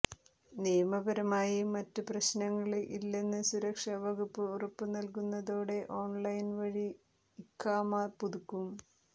നിയമപരമായി മറ്റു പ്രശ്നങ്ങള് ഇല്ലെന്ന് സുരക്ഷാ വകുപ്പ് ഉറപ്പ് നല്കുന്നതോടെ ഓണ്ലൈന് വഴി ഇഖാമ പുതുക്കും